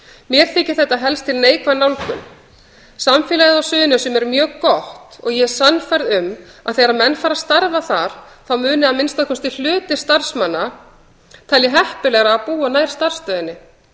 mér þykir þetta helst til neikvæð nálgun samfélagið á suðurnesjum er mjög gott og ég er sannfærð um að þegar menn fara að starfa þar þá muni að minnsta kosti hluti starfsmanna telja heppilegra að búa nær starfsstöðinni